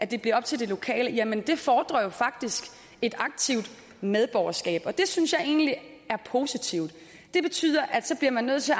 det bliver op til de lokale jamen det fordrer faktisk et aktivt medborgerskab og det synes jeg egentlig er positivt det betyder at så bliver man nødt til